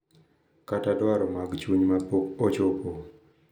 Kata dwaro mag chuny ma pok ochopo.